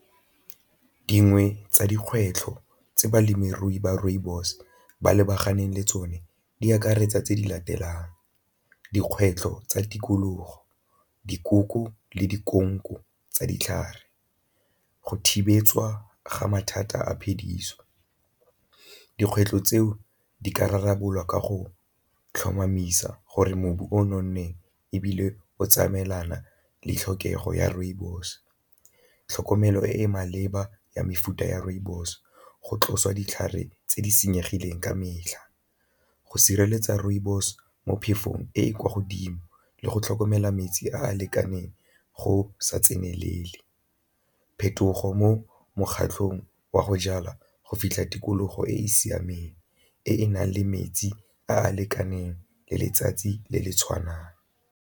Dingwe tsa dikgwetlho tse balemirui ba rooibos ba lebaganeng le tsone di akaretsa tse di latelang, dikgwetlho tsa tikologo, dikoko le tsa ditlhare, go thibetswa ga mathata a phediso. Dikgwetlho tseo di ka rarabololwa ka go tlhomamisa gore mobu o nonneng ebile o tsamaelana le tlhokego ya rooibos, tlhokomelo e e maleba ya mefuta ya rooibos, go tlosa ditlhare tse di senyegileng ka metlha, go sireletsa rooibos mo phefong e e kwa godimo le go tlhokomela metsi a a lekaneng go sa tsenelele, phetogo mo mokgatlhong wa go jalwa go fitlha tikologo e e siameng e e nang le metsi a a lekaneng le letsatsi le le tshwanang.